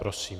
Prosím.